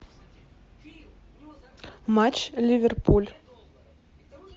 матч ливерпуль